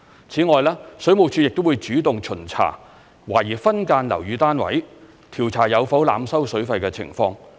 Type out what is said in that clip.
此外，水務署亦會主動巡查懷疑分間樓宇單位，調查有否濫收水費的情況。